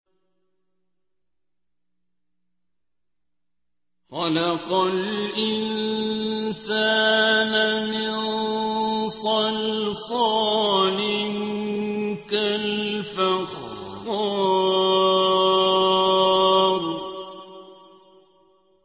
خَلَقَ الْإِنسَانَ مِن صَلْصَالٍ كَالْفَخَّارِ